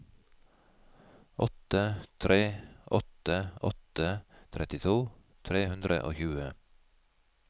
åtte tre åtte åtte trettito tre hundre og tjue